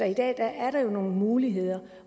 i dag er der jo nogle muligheder